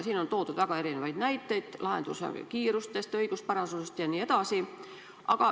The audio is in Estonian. Siin on toodud väga erinevaid näiteid lahenduse kiiruse, õiguspärasuse kohta jne.